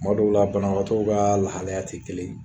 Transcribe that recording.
Tuma dɔw la banabagatɔw ka lahalaya tɛ kelen ye